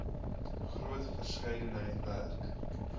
groot verskeidenheid werk